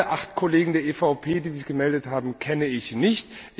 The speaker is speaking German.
Alle acht Kollegen der EVP, die sich gemeldet haben, kenne ich nicht.